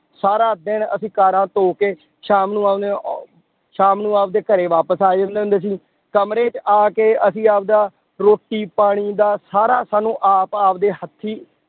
ਸਾਰਾ ਦਿਨ ਅਸੀਂ ਕਾਰਾਂ ਧੌ ਕੇ ਸ਼ਾਮ ਨੂੰ ਆਉਂਦੇ ਅਹ ਸ਼ਾਮ ਨੂੰ ਆਪਦੇ ਘਰੇ ਵਾਪਿਸ ਆ ਜਾਂਦੇ ਹੁੰਦੇ ਸੀ, ਕਮਰੇ ਚ ਆ ਕੇ ਅਸੀਂ ਆਪਦਾ ਰੋਟੀ ਪਾਣੀ ਦਾ ਸਾਰਾ ਸਾਨੂੰ ਆਪ ਆਪਦੇ ਹੱਥੀਂ